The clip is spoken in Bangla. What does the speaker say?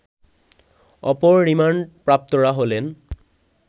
অপর রিমান্ডপ্রাপ্তরা হলেন